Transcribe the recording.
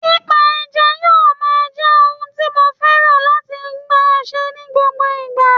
Pípa ẹja yóò máa jẹ́ ohun tí mo fẹ́ran láti máa ṣe ní gbogbo ìgbà